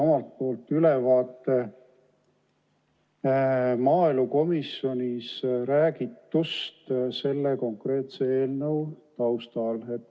Annan siis ülevaate maaelukomisjonis räägitust selle konkreetse eelnõu raames.